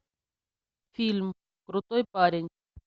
фильм крутой парень